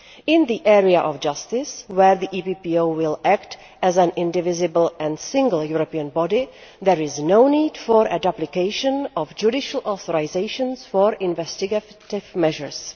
In the area of justice, where the EPPO will act as an indivisible and single European body, there is no need for a duplication of judicial authorisations for investigative measures.